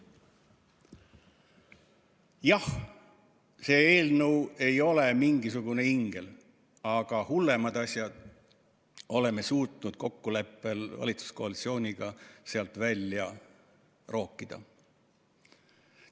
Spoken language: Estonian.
Jah, see eelnõu ei ole mingisugune ingel, aga hullemad asjad oleme suutnud kokkuleppel valitsuskoalitsiooniga sealt välja rookida.